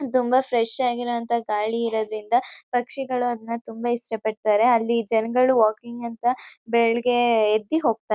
ತುಂಬ ಫ್ರೆಶ್ ಆಗಿರೋಂತ ಗಾಳಿ ಇರದ್ರಿಂದ ಪಕ್ಷಿಗಳು ಅದ್ನ ತುಂಬಾ ಇಷ್ಟಪಡ್ತರೆ ಅಲ್ಲಿ ಜನಗಳು ವಾಕಿಂಗ್ ಅಂತ ಬೆಳ್ಗೆ ಎದ್ದಿ ಹೋಗ್ತರೆ--